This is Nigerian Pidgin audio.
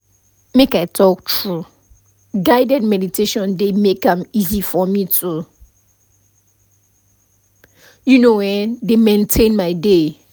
make i talk true guided meditation dey make am easy for me to you know[um]dey maintain my day